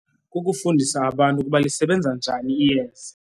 Kukufundisa abantu ukuba lisebenza njani iyeza.